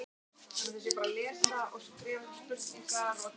Egg annarra fugla, til dæmis kjóa og músarrindils, gátu gert sama gagn.